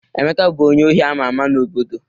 Emeka bụ onye ohi ama ama n'obodo